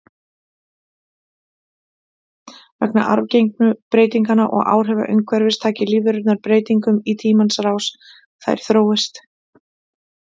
Vegna arfgengu breytinganna og áhrifa umhverfis taki lífverurnar breytingum í tímans rás, þær þróist.